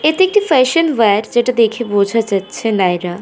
এটি একটি fashion war যেটা দেখেই বোঝা যাচ্ছে নায়রা ।